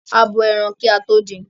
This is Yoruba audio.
A bo ẹran kí a tó din.